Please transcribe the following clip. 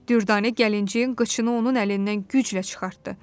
Dürdanə gəlinciyin qıçını onun əlindən güclə çıxartdı.